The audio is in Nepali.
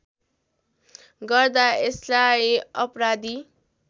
गर्दा यसलाई अपराधी